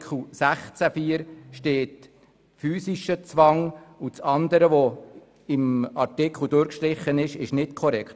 16 Absatz 4 steht «physischer Zwang» und das andere, was im Artikel durchgestrichen ist, ist nicht korrekt.